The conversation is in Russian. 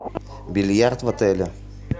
бильярд в отеле